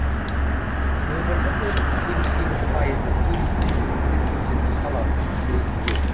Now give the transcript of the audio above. өңірлік өнімнің елу сегіз пайызы туризм мен қызмет көрсету саласының үлесінде